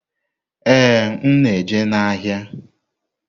Ee, m na-eje n'ahịa.